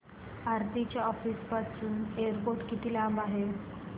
आरती च्या ऑफिस पासून एअरपोर्ट किती लांब आहे